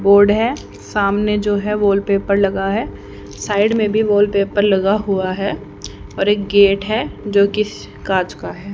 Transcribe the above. Board है सामने जो है वॉलपेपर लगा है साइड में भी वॉलपेपर लगा हुआ है और एक गेट है जोकि कांच का है।